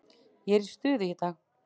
Ég er í stuði í dag.